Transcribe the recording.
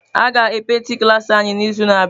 A ga e paintị klaasị anyị n'izu na-abịa.